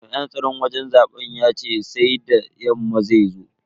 Jami'in tsaron wajen zaben yace sai da yamma zai zo.